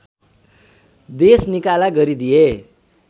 देशनिकाला गरिदिए